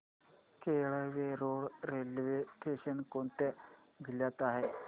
Kelve road railway station कोणत्या जिल्ह्यात आहे